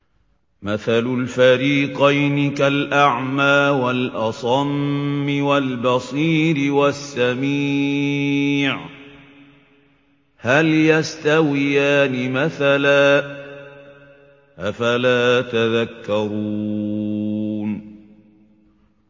۞ مَثَلُ الْفَرِيقَيْنِ كَالْأَعْمَىٰ وَالْأَصَمِّ وَالْبَصِيرِ وَالسَّمِيعِ ۚ هَلْ يَسْتَوِيَانِ مَثَلًا ۚ أَفَلَا تَذَكَّرُونَ